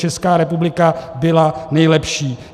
Česká republika byla nejlepší.